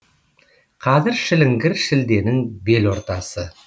қазір шіліңгір шілденің бел ортасы